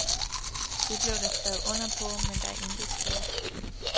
Det blev der skrevet under på, men der er intet sket.